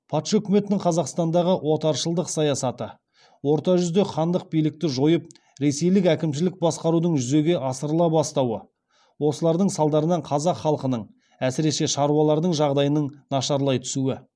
патша өкіметінің қазақстандағы отаршылдық саясаты орта жүзде хандық билікті жойып ресейлік әкімшілік басқарудың жүзеге асырыла бастауы осылардың салдарынан қазақ халқының әсіресе шаруалардың жағдайының нашарлай түсуі